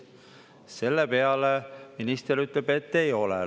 Selle peale minister ütleb, et ei ole.